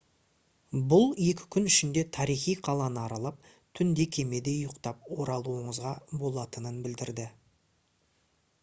бұл екі күн ішінде тарихи қаланы аралап түнде кемеде ұйықтап оралуыңызға болатынын білдіреді